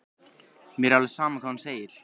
Mér er alveg sama hvað hún segir.